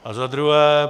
A za druhé.